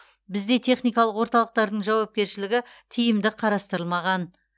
бізде техникалық орталықтардың жауапкершілігі тиімді қарастырмаған